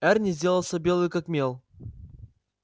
эрни сделался белый как мел